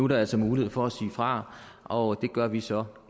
der altså mulighed for at sige fra og det gør vi så